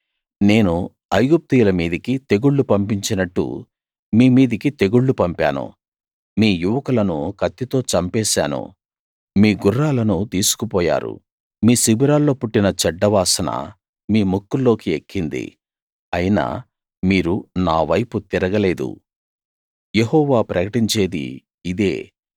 నేను ఐగుప్తీయుల మీదికి తెగుళ్లు పంపించినట్టు మీ మీదికి తెగుళ్లు పంపాను మీ యువకులను కత్తితో చంపేశాను మీ గుర్రాలను తీసుకుపోయారు మీ శిబిరాల్లో పుట్టిన చెడ్డ వాసన మీ ముక్కుల్లోకి ఎక్కింది అయినా మీరు నా వైపు తిరగలేదు యెహోవా ప్రకటించేది ఇదే